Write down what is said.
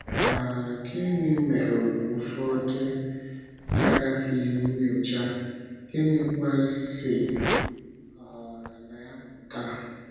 um Gịnị mere ụfọdụ agafịghị nnyocha, gịnịkwa si um na ya pụta?